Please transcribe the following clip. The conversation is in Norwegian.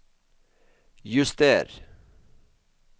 juster